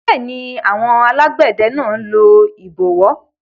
Bẹ́ẹ̀ni, alágbẹ̀dẹ náà lo ìbọwọ́